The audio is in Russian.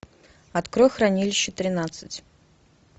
открой хранилище тринадцать